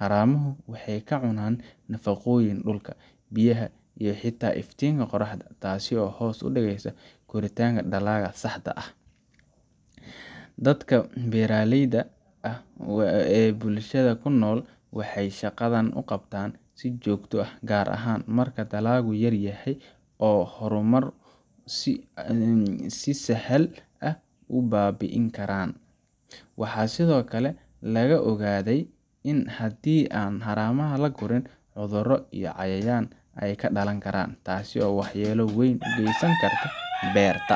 Haramuhu waxay ka cunaan nafaqooyinka dhulka, biyaha, iyo xitaa iftiinka qorraxda, taasoo hoos u dhigaysa koritaanka dalagga saxda ah. Dadka beeraleyda ah ee bulshada ku nool, waxay shaqadan u qabtaan si joogto ah, gaar ahaan marka dalaggu yaryahay oo haramuhu si sahal ah u baabi’in karaan. Waxaa sidoo kale laga ogaaday in haddii aan haramaha la gurin, cudurro iyo cayayaan ay ka dhalan karaan, taasoo waxyeello weyn u geysan karta beerta.